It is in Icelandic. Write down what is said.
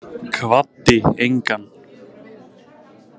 Kvaddi engan.